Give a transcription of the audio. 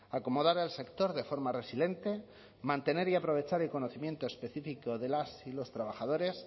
acomodar al sector de forma resiliente mantener y aprovechar el conocimiento específico de las y los trabajadores